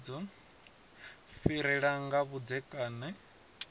fhirela nga kha zwa vhudzekani